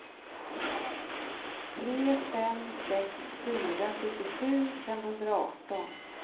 tre fem sex fyra sjuttiosju femhundraarton